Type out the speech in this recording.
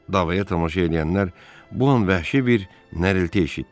Davaya tamaşa eləyənlər bu an vəhşi bir nərilti eşitdilər.